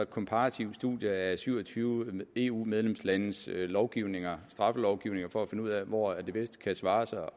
komparative studier af syv og tyve eu medlemslandes straffelovgivninger for at finde ud af hvor det bedst kan svare sig